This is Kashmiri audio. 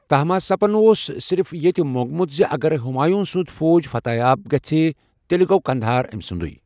تہماسپن اوس صرف یٗتٗیہ مو٘نٛگٗت زِ اگر ہمایوٕں سٗند فوج فتح یاب گٔژھِ تیٚلہِ گوٚو قندھار امِسٗندٗے ۔